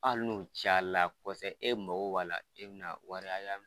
Hali n'o caya la e mako b'a la e bɛna wari hakɛya